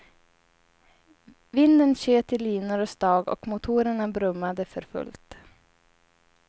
Vinden tjöt i linor och stag och motorerna brummade för fullt.